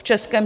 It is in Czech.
V Českém